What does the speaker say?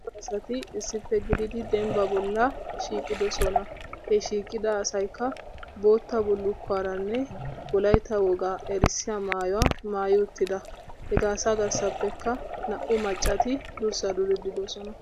Cora asati issippe gididi dembba bolla shiiqidoosona. He shiiqida asaykka bootta bullukuwaranne wolaytta wogaa erissiyaa maayyuwa maayyi uttida. Hegaa asa garssappekka naa''u maccati durssaa duriddi doosona.